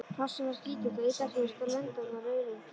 Hrossið var skítugt og illa hirt og lendarnar rauðröndóttar.